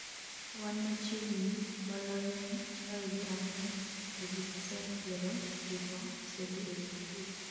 wan machiegni mbalariany apar gi ang'wen to ji pacent piero chiko osedhi e sikul